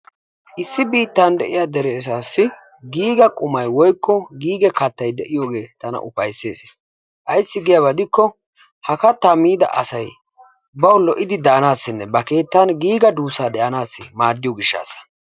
Issi biittan de'iya asaassi giiga qumay/giiga kattay de'iyogee tana ufayssees. Ayssi giyaba gidikko miida asay bawu lo'idi daanaassinne ba keettan duussaa de'anaassi maaddiyo gishshaassa.